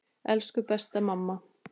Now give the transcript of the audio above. Elsku besta mamma.